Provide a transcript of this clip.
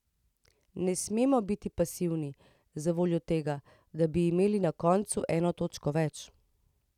Ne smemo biti pasivni zavoljo tega, da bi imeli na koncu eno točko več.